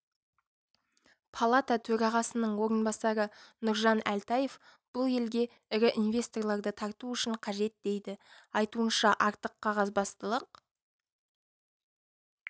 палата төрағасының орынбасары нұржан әлтаев бұл елге ірі инвесторларды тарту үшін қажет дейді айтуынша артық қағазбастылық